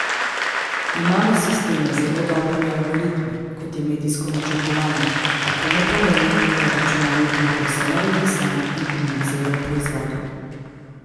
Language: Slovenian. Imamo sisteme z zelo dobrimi algoritmi, kot je medijsko načrtovanje, a to ne pomeni, da računalnik lahko vse naredi sam in komunicira o proizvodu.